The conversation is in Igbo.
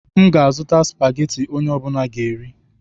M ga-azụta Spageti onye ọbula ga-eri